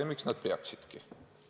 Ja miks nad peaksidki?